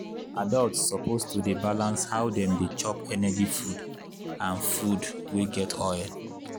adults suppose to dey balance how dem dey chop energy food and food wey get oil.